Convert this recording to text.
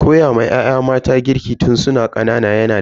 Koyawa ya'ya mata girki tun su na ƙanana yana da kyau.